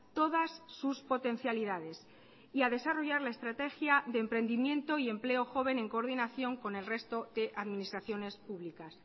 todas sus potencialidades y a desarrollar la estrategia de emprendimiento y empleo joven en coordinación con el resto de administraciones públicas